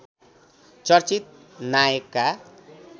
चर्चित नायकका